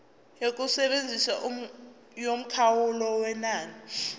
yokusebenza yomkhawulo wenani